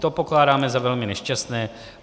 To pokládáme za velmi nešťastné.